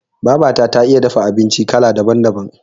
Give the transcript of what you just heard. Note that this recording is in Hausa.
Babata ta iya dafa abinci kala daban- daban.